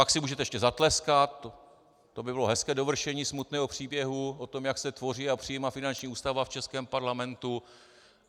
Pak si můžete ještě zatleskat, to by bylo hezké dovršení smutného příběhu o tom, jak se tvoří a přijímá finanční ústava v českém parlamentu.